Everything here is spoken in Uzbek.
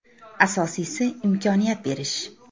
Asosiysi imkoniyat berish.